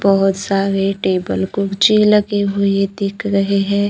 बहोत सारे टेबल कुर्चे लगे हुए दिख रहे हैं।